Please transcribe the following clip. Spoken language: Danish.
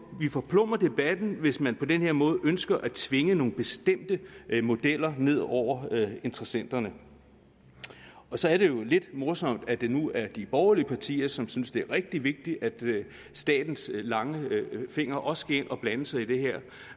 forplumrer debatten hvis man på den her måde ønsker at tvinge nogle bestemte modeller ned over interessenterne og så er det jo lidt morsomt at det nu er de borgerlige partier som synes at det er rigtig vigtigt at statens lange fingre også skal ind og blande sig i det her